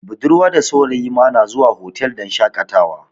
Budarwa da saurayi ma na zuwa hotal don shakatawa